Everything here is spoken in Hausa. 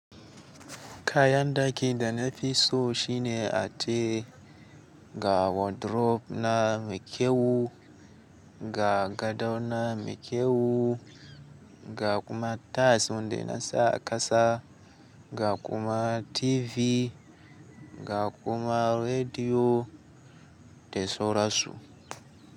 Kayan daki da na fi so shine atere, ga wardrobe na mai kyau, ga gado na mai kyau, ga kuma tas wanda na sa a kasa, ga kuma TV, ga kuma rediyo da sorasu.